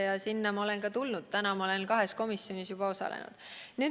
Ja sinna ma olen ka tulnud, täna ma olen juba kahe komisjoni töös osalenud.